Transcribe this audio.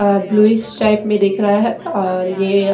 bluish type में दिख रहा है और ये--